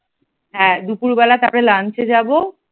হ্যাঁ দুপুরবেলায় তারপর lunch এ যাব।